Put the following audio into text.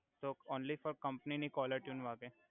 તો only four company ની caller tune વાગે